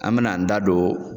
An be n'an da don